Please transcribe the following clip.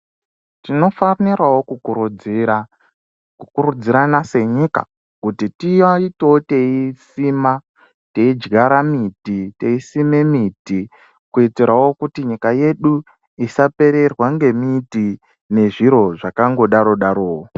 Tinofanirawo kukurudzira, kukurudzirana senyika kuti tiitewo teisima, teidyara miti ,teisima miti. Kuitirawo kuti nyika yedu isapererwa ngemiti nezviro zvakangodaro darowo